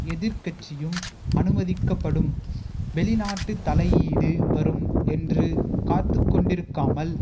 எதிர்க்கட்சியும் அனுமதிக்கப்படும் வெளிநாட்டு தலையீடு வரும் என்று காத்துக்கொண்டிருக்காமல்